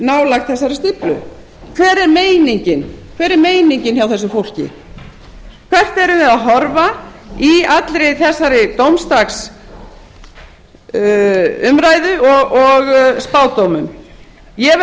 nálægt þessari stíflu hver er meiningin hjá þessu fólki hvert erum við að horfa í allri þessari dómsdagsumræðu og spádómum ég verð